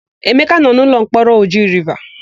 Emeka nọ n'ụlọmkpọrọ Oji Riva.